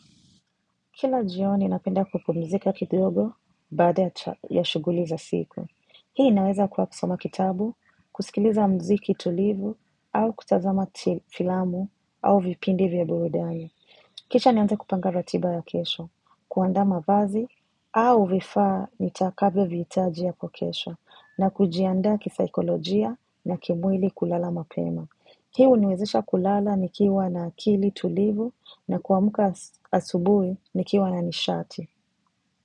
Kila jioni napenda kupumzika kidogo baada ya shughuli za siku. Hii inaweza kuwa kusoma kitabu, kusikiliza mziki tulivu au kutazama filamu au vipindi vya burudani. Kisha nianze kupanga ratiba ya kesho, kuaanda mavazi au vifaa nitakavyovihitaji hapo kesho na kujiandaa kisaikolojia na kimwili kulala mapema. Hii uniwezesha kulala nikiwa na akili tulivu na kuamuka asubuhi nikiwa na nishati.